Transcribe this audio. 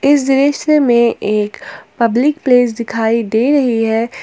इस दृश्य में एक पब्लिक प्लेस दिखाई दे रही है।